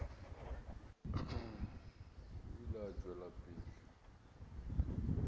o ile a tšwela pele